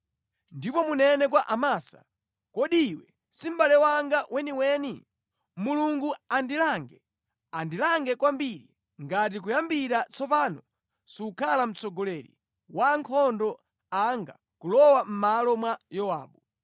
Ndipo munene kwa Amasa, ‘Kodi iwe si mʼbale wanga weniweni? Mulungu andilange, andilange kwambiri ngati kuyambira tsopano sukhala mtsogoleri wa ankhondo anga kulowa mʼmalo mwa Yowabu.’ ”